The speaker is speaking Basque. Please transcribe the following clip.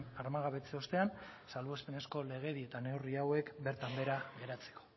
armagabetze ostean salbuespenezko legedi eta neurri hauek bertan behera geratzeko